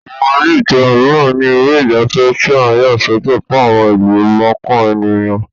Àwọn ilé ìtura mìíran ní ilé ìgbafẹ́ tí a yà sọ́tọ̀ fún àwọn ìlú mọ̀ọ́kàn ènìyàn